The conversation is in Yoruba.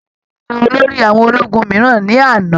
Ààrẹ yan olórí àwọn ológun mìíràn ní àná.